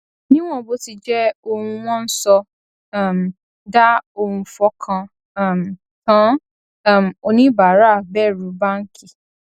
níwòn bó ti jé ohun wón ń sọ um dà ohun fọkàn um tán um oníbàárà bèrù báńkì